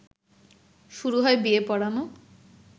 শুরু হয় বিয়ে পড়ানো